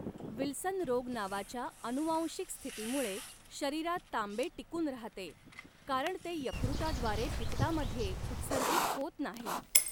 Wilson रोग नावाच्या अनुवांशिक स्थितीमुळे शरीरात तांबे टिकून राहते, कारण ते यकृताद्वारे पित्तामध्ये उत्सर्जित होत नाही.